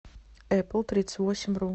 эплтридцатьвосемьру